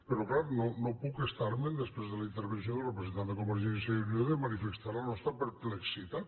però clar no puc estar me’n després de la intervenció del representant de convergència i unió de manifestar la nostra perplexitat